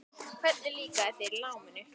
Hvernig líkaði þér í náminu?